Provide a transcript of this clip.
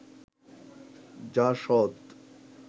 JASAD